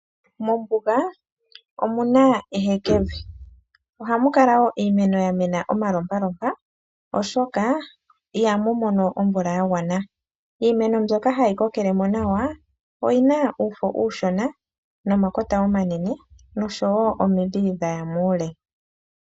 Mombunga omuna ehekevi oha mukala wo iimeno yamena oma lopalopa oshoka Iha mumono omvula yangwana, iimeno mbyoka hayi kokelemo Nawa oyina uufo ushona nomakota omanene nosho wo omidhi dhaya muule.